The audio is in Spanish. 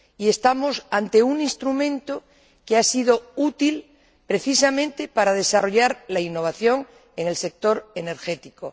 Y estamos ante un instrumento que ha sido útil precisamente para desarrollar la innovación en el sector energético.